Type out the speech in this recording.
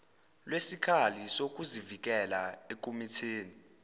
lwesikhali sokuzivikela ekumitheni